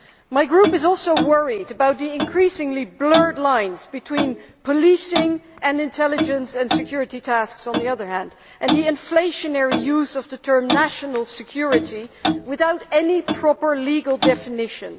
My Group is also worried about the increasingly blurred lines between policing and intelligence and security tasks, and the inflationary use of the term national security', without any proper legal definition.